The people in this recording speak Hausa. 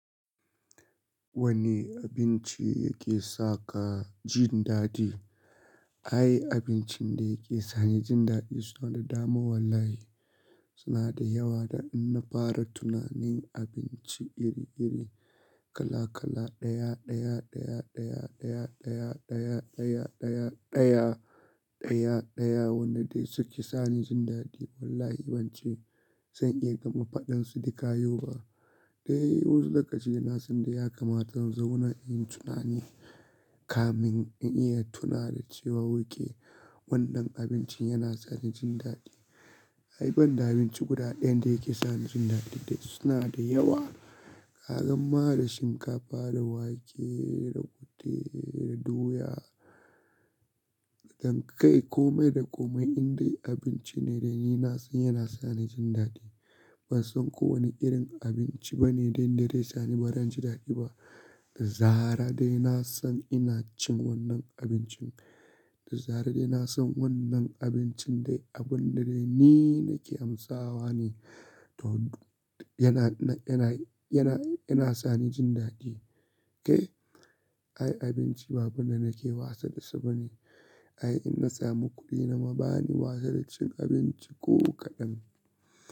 Wani abinci yake sa ka jin daɗi? Ai abincin da yake sani jin daɗi suna da dama wallahi. Suna da yawa da in na fara tunanin abinci iri-iri, kala-kala, ɗaya, ɗaya, ɗaya, ɗaya, ɗaya, ɗaya, ɗaya, ɗaya, ɗaya, ɗaya, ɗaya, ɗaya wanda suke sani jin daɗi wallahi ban ce zan iya gama faɗan su dukayau ba. Dai wasu lokaci da na sanda ya kamata in zo wurin in yi tunani kamin in iya tuna da cewa oke wannan abincin yana sani jin daɗi. Ai banda abinci guda ɗaya da yake sani jin daɗi dai suna da yawa. Ka gan ma da shinkafa, da wake, da kute, da doya, zankai komai da komai indai abinci ne dai ni na san yana sani jin daɗi. Ban san kowane irin abinci bane dainda dai sani barin jin daɗi ba. Da zarar dai na san ina cin wannan abincin, da zarar dai na san wannan abincin dai abun da dai ni nake amsawa ne. Yana, yana, yana, yana sani jin daɗi, kai? Ai abinci babu da nake wasa da shi bane. Ai in na samu kuɗi na ma bani wasa da cin abinci ko kaɗan.